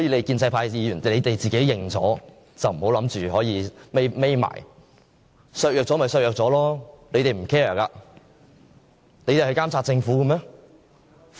建制派議員自己承認了就不要躲避，削弱了便削弱了，他們不會 care， 他們會監察政府嗎？